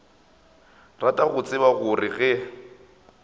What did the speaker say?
rata go tseba gore ge